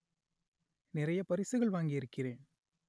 நிறைய பரிசுகள் வாங்கி இருக்கிறேன்